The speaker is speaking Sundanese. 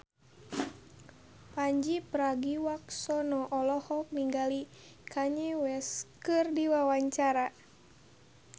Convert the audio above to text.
Pandji Pragiwaksono olohok ningali Kanye West keur diwawancara